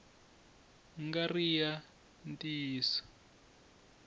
nga ri ki ya ntiyiso